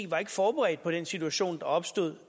var forberedt på den situation der opstod